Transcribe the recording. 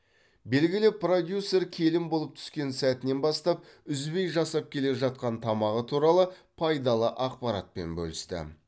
белгілі продюсер келін болып түскен сәтінен бастап үзбей жасап келе жатқан тамағы туралы пайдалы ақпаратпен бөлісті